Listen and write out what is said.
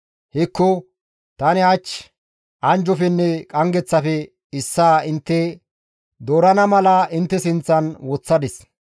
Hekko! Tani hach anjjofenne qanggeththafe issaa intte doorana mala intte sinththan woththadis.